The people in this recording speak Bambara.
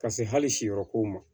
Ka se hali si yɔrɔ kow ma